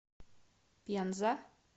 пенза